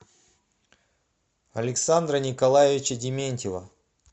александра николаевича дементьева